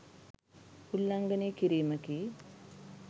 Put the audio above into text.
උල්ලංඝනය කිරීමකි.